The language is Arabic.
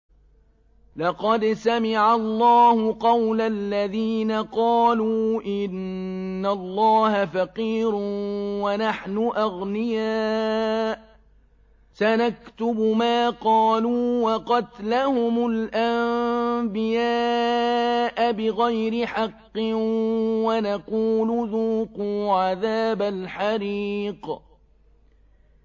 لَّقَدْ سَمِعَ اللَّهُ قَوْلَ الَّذِينَ قَالُوا إِنَّ اللَّهَ فَقِيرٌ وَنَحْنُ أَغْنِيَاءُ ۘ سَنَكْتُبُ مَا قَالُوا وَقَتْلَهُمُ الْأَنبِيَاءَ بِغَيْرِ حَقٍّ وَنَقُولُ ذُوقُوا عَذَابَ الْحَرِيقِ